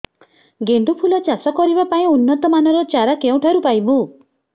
ଗେଣ୍ଡୁ ଫୁଲ ଚାଷ କରିବା ପାଇଁ ଉନ୍ନତ ମାନର ଚାରା କେଉଁଠାରୁ ପାଇବୁ